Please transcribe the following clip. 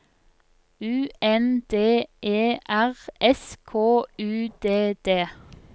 U N D E R S K U D D